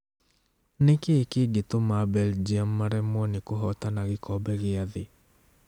Nikĩ kĩngĩtuma Belgium maremwo nĩ kũhotana gikombe gĩa thĩ?.